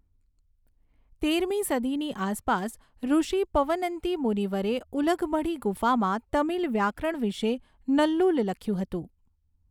તેરમી સદીની આસપાસ, ઋષિ પવનંતી મુનિવરે ઉલગમઢી ગુફામાં તમિલ વ્યાકરણ વિશે નન્નુલ લખ્યું હતું.